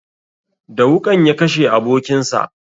Da wuƙan ya kashe abokin sa